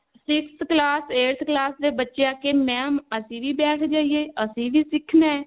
sixth class eighth class ਦੇ ਬੱਚੇ ਆ ਕਿ mam ਅਸੀਂ ਵੀ ਬੈਠ ਜਾਈਏ ਅਸੀਂ ਵੀ ਸਿੱਖਣਾ